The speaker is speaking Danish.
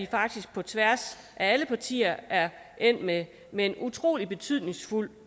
faktisk på tværs af alle partier er endt med med en utrolig betydningsfuld